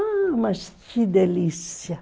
Ah, mas que delícia!